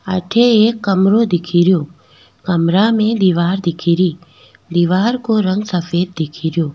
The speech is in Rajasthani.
अठ एक कमरों दिखेरो कमरा में दिवार दिखे रि दीवार को रंग सफेद दिख रो।